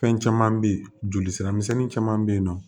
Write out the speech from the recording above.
Fɛn caman bɛ yen joli sira misɛnnin caman bɛ yen nɔ